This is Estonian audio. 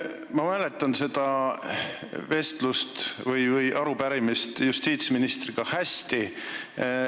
Ma mäletan seda vestlust justiitsministriga arupärimise arutamisel hästi.